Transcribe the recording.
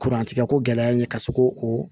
Kurantigɛ ko gɛlɛya n ye ka se ko o